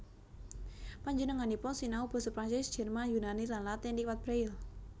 Penjenenganipun sinau basa Prancis Jerman Yunani lan Latin liwat braille